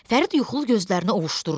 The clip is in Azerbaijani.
Fərid yuxulu gözlərini ovuşdurdu.